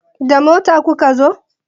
Da mota kuka zo?